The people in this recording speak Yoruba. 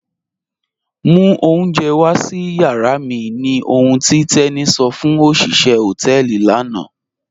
Mú ọ̀unjẹ̀ wà sí yàrà mi ní òhùn tí Teni sọ fún ọ̀ṣiṣẹ̀ họtẹẹlì lànà